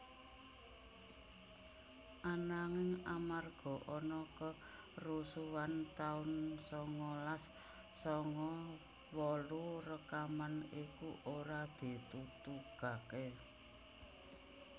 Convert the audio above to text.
Ananging amarga ana kerusuhan taun sangalas sanga wolu rekaman iku ora ditutugaké